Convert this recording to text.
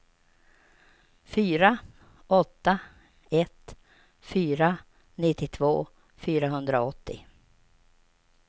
fyra åtta ett fyra nittiotvå fyrahundraåttio